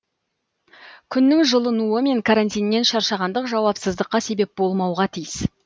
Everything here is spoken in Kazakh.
күннің жылынуы мен карантиннен шаршағандық жауапсыздыққа себеп болмауға тиіс